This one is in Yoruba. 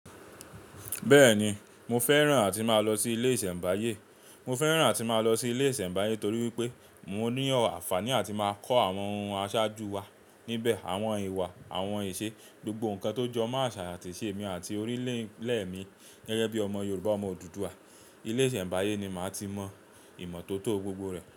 Bẹ́ẹ̀ni, mo fẹ́ràn àti máa lọ sí ilé ìsẹ̀mbáyé. Mo fẹ́ràn àti máa lọ sí ilé ìsẹ̀mbáyé torí wípé mo ní ànfàní àti máa kọ́ àwọn ohun aṣáájú wa níbẹ̀, àwọn ìwà, àwọn ìṣe, gbogbo nǹkan tó jọ mo aṣà ati ìṣè mi àti orílẹ̀ mi gẹ́gẹ́ bí ọmọ Yorùbá, ọmọ Odùduwà. Ilé ìsẹ̀mbáyé ni màá ti mọ ìmọ̀ tó tó gbogbo rẹ̀.